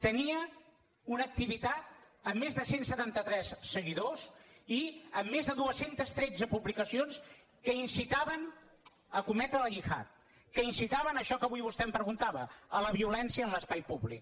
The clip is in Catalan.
tenia una activitat amb més de cent i setanta tres seguidors i amb més de dos cents i tretze publicacions que incitaven a cometre la gihad que incitaven a això que avui vostè em preguntava a la violència en l’espai públic